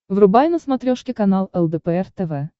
врубай на смотрешке канал лдпр тв